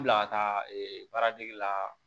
Bila ka taa ee baara dege la